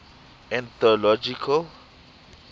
ethnological